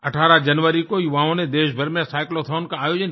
18 जनवरी को युवाओं नेदेशभर में cyclothonका आयोजन किया